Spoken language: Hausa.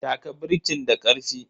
Taka birkin da karfi.